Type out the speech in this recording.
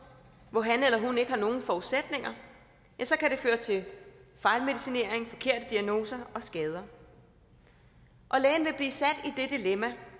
hvor han eller hun ikke har nogen forudsætninger kan det føre til fejlmedicinering forkerte diagnoser og skader og lægen vil